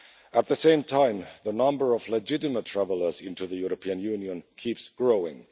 At the same time, the number of legitimate travellers into the European Union keeps growing.